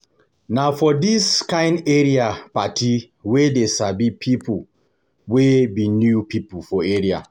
Na for dis kain area party we dey sabi pipo wey be new pipo for area.